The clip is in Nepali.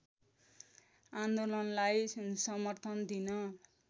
आन्दोलनलाई समर्थन दिन